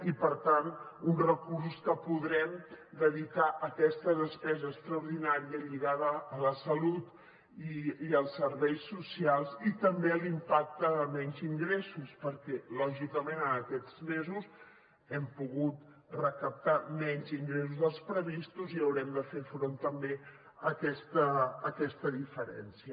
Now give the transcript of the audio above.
i per tant uns recursos que podrem dedicar a aquesta despesa extraordinària lligada a la salut i als serveis socials i també a l’impacte de menys ingressos perquè lògicament en aquests mesos hem pogut recaptar menys ingressos dels previstos i haurem de fer front també a aquesta diferència